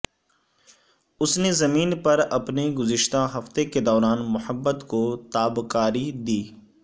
اس نے زمین پر اپنے گزشتہ ہفتے کے دوران محبت کو تابکاری دی